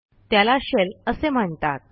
त्याला शेल असे म्हणतात